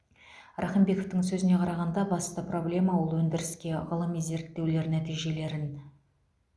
рақымбековтың сөзіне қарағанда басты проблема ол өндіріске ғылыми зерттеулер нәтижелерін